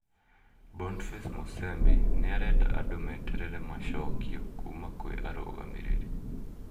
Boniface Musembi niarenda andũ meterere macokio kuma kwi arũgamĩrĩri,